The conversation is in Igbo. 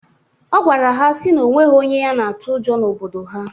Ọ gwara ha sị na onwero onye ya na-atụ ụjọ n'obodo ha.